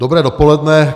Dobré dopoledne.